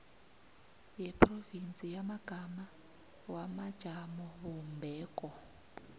yeprovinsi yamagama wamajamobumbeko